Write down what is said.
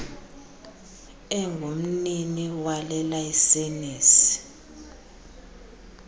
engumnini wale layisenisi